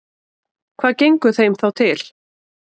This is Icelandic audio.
Hvað gengur þeim þá til?